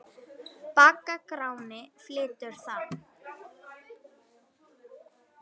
Bagga Gráni flytur þann.